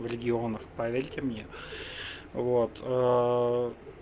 в регионах поверьте мне вот